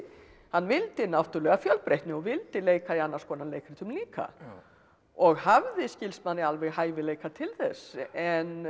hann vildi náttúrulega fjölbreytni og vildi leika í annars konar leikritum líka og hafði skilst manni alveg hæfileika til þess en